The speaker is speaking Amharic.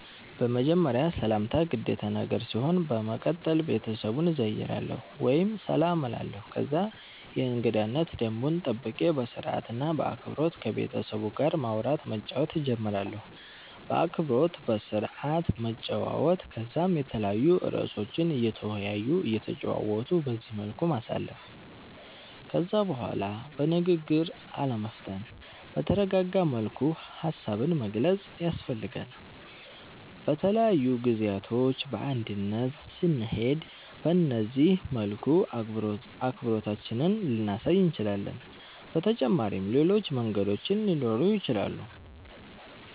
በመጀመርያ ሰላምታ ግዴታ ነገር ሲሆን በመቀተል ቤተሰቡን እዘይራለሁ ወይም ሰላም እላለሁ ከዛ የእንገዳነት ደንቡን ጠብቄ በስርአት እና በአክበሮት ከቤተሰቡ ጋር ማዉራት መጫወት ጀምራለሁ። በአክብሮት በስርአት መጨዋወት ከዛም የተለያዩ እርእሶችን እየተወያዩ እየተጨዋወቱ በዚህ መልኩ ማሳለፍ። ከዛ በላይ በንግግር አለመፍጠን በተረጋጋ መልኩ ሃሳብን መግለፅ ያስፈልጋል። በተለያዩ ጊዜያቶች በእንግድነት ስንሄድ በነዚህ መልኩ አክብሮታችንን ልናሳይ እንችላለን። በተጫመሪም ሌሎች መንገዶችም ሊኖሩ ይችላሉ